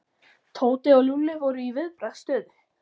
Tóti og Lúlli voru í viðbragðsstöðu.